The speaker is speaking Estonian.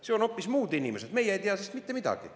Seal on hoopis muud inimesed, meie ei tea sellest mitte midagi.